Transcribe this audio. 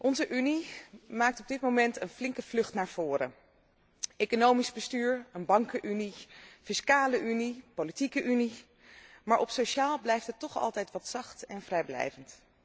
Onze Unie maakt op dit moment een flinke vlucht naar voren economisch bestuur, een bankenunie, fiscale unie, politieke unie, maar sociaal blijft het toch altijd wat zacht en vrijblijvend.